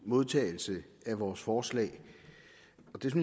modtagelse af vores forslag